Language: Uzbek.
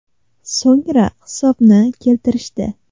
So‘ngra hisobni keltirishdi.